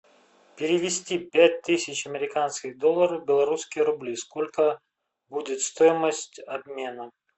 перевести пять тысяч американских долларов в белорусские рубли сколько будет стоимость обмена